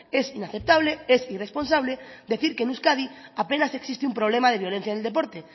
es inaceptable es irresponsable decir que en euskadi apenas existe un problema de violencia en el deporte